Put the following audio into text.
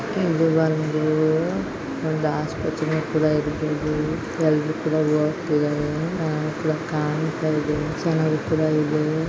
ಇಲ್ಲಿ ಒಂದು ಒಂದ್ ಆಸ್ಪತ್ರೆ ಕೂಡ ಇರ್ಬಹುದು ಎಲ್ರು ಕೂಡ ಓಗ್ತಿದಾರೆ .]